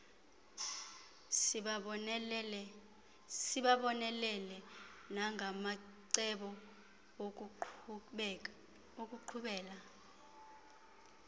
sibabonelele nangamacebo okuqhubela